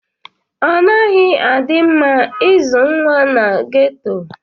Ọnaghi adi mma izụ nwa n'ghetto.